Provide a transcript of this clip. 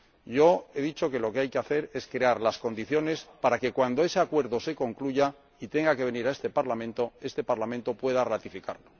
Yo he dicho que lo que hay que hacer es crear las condiciones para que, cuando ese Acuerdo se concluya y se someta a este Parlamento, este Parlamento pueda ratificarlo.